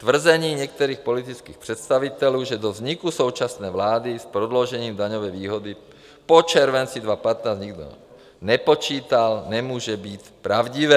Tvrzení některých politických představitelů, že do vzniku současné vlády s prodloužením daňové výhody po červenci 2015 nikdo nepočítal, nemůže být pravdivé.